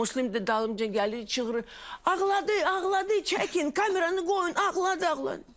Muslim də dalımca gəlir, çıxır, ağladı, ağladı, çəkin, kameranı qoyun, ağladı, ağladı.